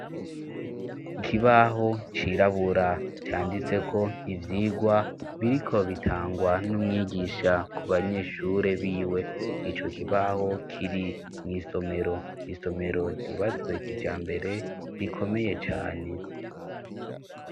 Ikibaho cirabura canditseko ivyigwa biriko bitangwa n'umwigisha ku banyeshure biwe. Ico kibaho kiri mw'isomero, isomero ryubatswe kijambere, rikomeye cane.